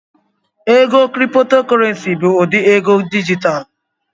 Ego Kriptokorenci bụ ụdị ego dijitalụ